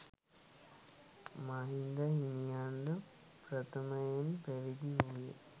මහින්ද හිමියන් ද ප්‍රථමයෙන් පැවිදි වූයේ